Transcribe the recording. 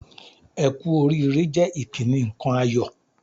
"Ẹ kú oríire" jẹ́ ìkíni nǹkan ayọ̀